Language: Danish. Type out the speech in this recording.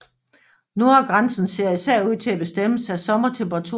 Nordgrænsen ser især ud til at bestemmes af sommertemperaturen